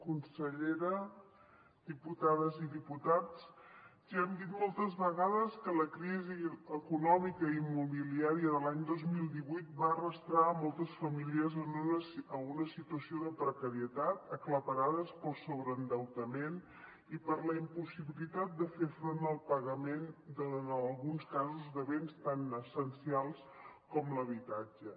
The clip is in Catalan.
consellera diputades i diputats ja hem dit moltes vegades que la crisi econòmica i immobiliària de l’any dos mil divuit va arrossegar moltes famílies a una situació de precarietat aclaparades pel sobreendeutament i per la impossibilitat de fer front al pagament en alguns casos de béns tan essencials com l’habitatge